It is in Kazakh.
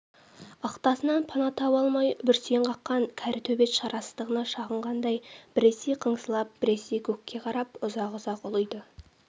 ықтасыннан пана таба алмай бүрсең қаққан кәрі төбет шарасыздығына шағынғандай біресе қыңсылап біресе көкке қарап ұзақ-ұзақ ұлиды